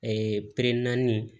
peremin